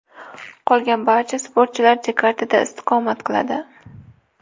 Qolgan barcha sportchilar Jakartada istiqomat qiladi.